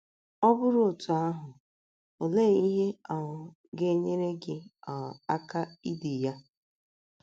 Ọ bụrụ otú ahụ, olee ihe um ga - enyere gị um aka idi ya?